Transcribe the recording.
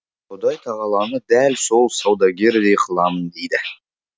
құдай тағаланы дәл сол саудагердей қыламын дейді